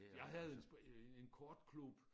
Jeg havde en øh en kortklub